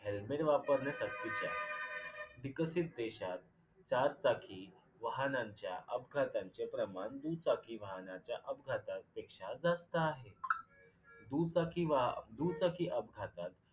helmet वापरणे सक्तीचे आहे. विकसित देशात चारचाकी वाहनांच्या अपघातांचे प्रमाण दुचाकी वाहनांच्या अपघातापेक्षा जास्त आहे. दुचाकी व्हा दुचाकी अपघातात.